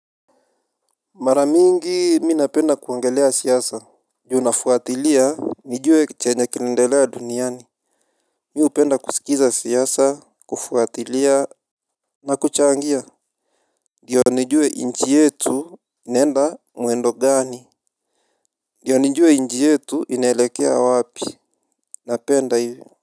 Mara mingi mi napenda kuongelea siasa. Ju nafuatilia nijuwe chenye kinaendelea duniani. Mi upenda kuskiza siasa kufuatilia na kuchangia ndiyo nijue nchi yetu inaenda mwendo gani ndio nijue nchi yetu inaelekea wapi. Napenda hivyo.